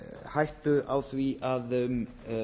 hættu á því að um